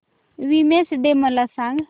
women's day मला सांग